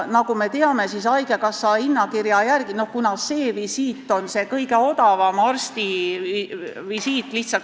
Nagu me teame, haigekassa hinnakirja järgi on see visiit see kõige odavam arstivisiit.